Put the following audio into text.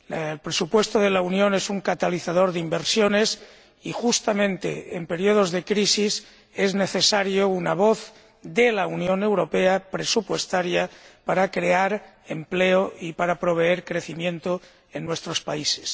El presupuesto de la Unión es un catalizador de inversiones y justamente en períodos de crisis es necesaria una voz de la Unión Europea presupuestaria, para crear empleo y para proveer crecimiento en nuestros países.